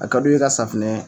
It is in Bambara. A ka du ye ka safinɛ.